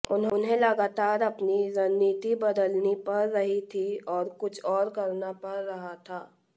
उन्हें लगातार अपनी रणनीति बदलनी पड़ रही थी और कुछ और करना पड़ रहा था